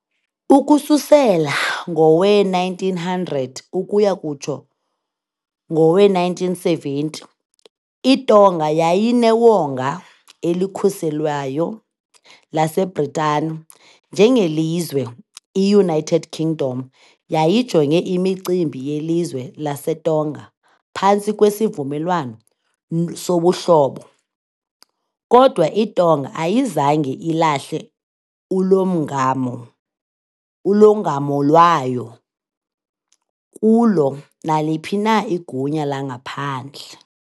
Ukususela ngowe-1900 ukuya kutsho ngowe-1970, iTonga yayinewonga elikhuselweyo laseBritani njengelizwe . I-United Kingdom yayijonge imicimbi yelizwe laseTonga phantsi kweSivumelwano soBuhlobo, kodwa iTonga ayizange ilahle ulongamo ulongamo lwayo kulo naliphi na igunya langaphandle.